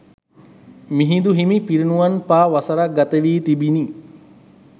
මිහිඳුහිමි පිරිණිවන් පා වසරක් ගත වී තිබුණි.